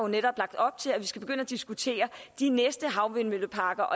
netop lagt op til at vi skal begynde at diskutere de næste havvindmølleparker